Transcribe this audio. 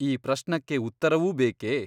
ಈ ಪ್ರಶ್ನಕ್ಕೆ ಉತ್ತರವೂ ಬೇಕೆ ?